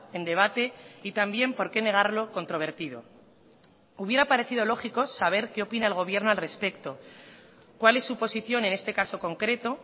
en debate y también por qué negarlo controvertido hubiera parecido lógico saber qué opina el gobierno al respecto cuál es su posición en este caso concreto